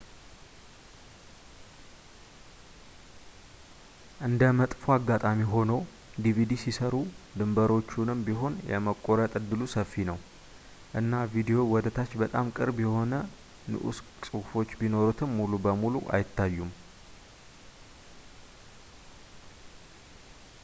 እንደ መጥፎ አጋጣሚ ሆኖ፣ ዲቪዲ ሲሰሩ ድንበሮቹንም ቢሆን የመቆረጥ እድሉ ሰፊ ነው ፣ እና ቪዲዮው ወደ ታች በጣም ቅርብ የሆኑ ንዑስ ጽሑፎች ቢኖሩት ሙሉ በሙሉ አይታዩም